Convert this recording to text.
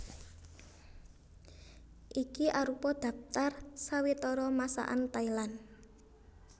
Iki arupa dhaptar sawetara Masakan Thailand